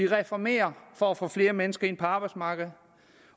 reformere for at få flere mennesker ind på arbejdsmarkedet